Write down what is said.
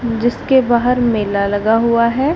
जिसके बाहर मेला लगा हुआ है।